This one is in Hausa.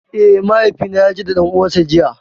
Eh, mahaifi na ya je da ɗan uwan sa jiya.